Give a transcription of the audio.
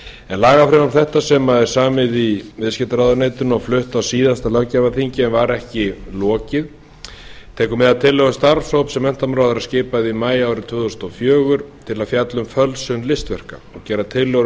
en lagafrumvarp þetta sem er samið í viðskiptaráðuneytinu og flutt á síðasta löggjafarþingi en var ekki lokið tekur mið af tillögu starfshóps sem menntamálaráðherra skipaði í maí árið tvö þúsund og fjögur til að fjalla um fölsun listaverk og gera tillögur